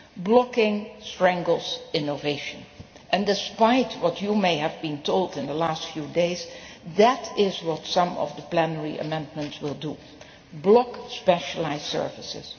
Blocking strangles innovation and, despite what you may have been told in the last few days, that is what some of the plenary amendments will do block specialised services.